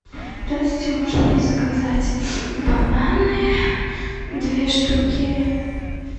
здравствуйте можно мне заказать бананы две штуки